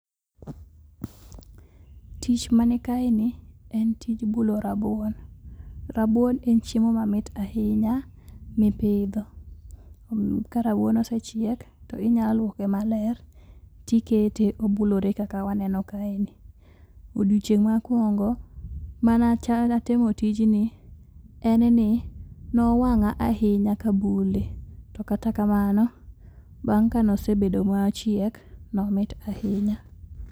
Tich man kaeni en tij bulo rabuon. Rabuon en chiemo mamit ahinya mipidho. Karabuon osechiek , to inyaluoke maler tikete obulore kaka waneno kaeni. Odiechieng' mokuongo mane atemo tijni en ni nowang'a ahinya kabule, tokata kamano, bang' kane osebedo mochiek, nomit ahinya.